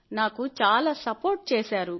నాకు చాలా సపోర్ట్ చేశారు